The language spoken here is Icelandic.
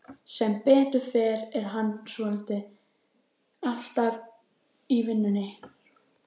Sem betur fer er hann svotil alltaf í vinnunni.